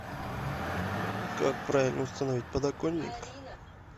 как правильно установить подоконник